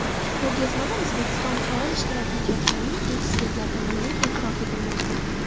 Ko‘rgazmada O‘zbekiston faol ishtirok etayotgangani ekspertlar tomonidan e’tirof etilmoqda.